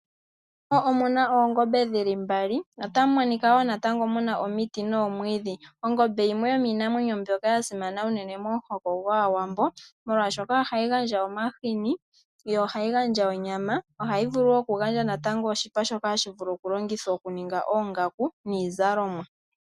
Omuna oongombe dhili mbali . Otamu monika woo natango muna omiti noomwidhi. Ongombe yimwe yomiinamwenyo mbyoka ya simana unene momuhoko gwaawambo molwaashoka ohayi gandja omahini yo ohayi gandja onyama. Ohayi vulu woo oku gandja natango oshipa shoka hashi vulu oku longithwa oku ninga oongaku niizalonwa .